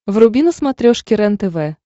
вруби на смотрешке рентв